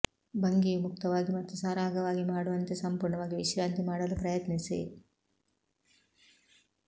ಭಂಗಿಯು ಮುಕ್ತವಾಗಿ ಮತ್ತು ಸರಾಗವಾಗಿ ಮಾಡುವಂತೆ ಸಂಪೂರ್ಣವಾಗಿ ವಿಶ್ರಾಂತಿ ಮಾಡಲು ಪ್ರಯತ್ನಿಸಿ